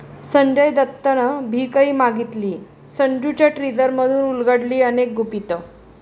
संजय दत्तनं भिकही मागितलीय, 'संजू'च्या टीझरमधून उलगडली अनेक गुपितं